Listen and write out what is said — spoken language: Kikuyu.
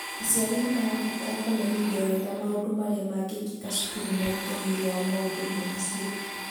Aciari nĩ marabatara kũmenyithio wega maũndũ marĩa magekĩka cukuru na itemi rĩao maũndũ-inĩ macio.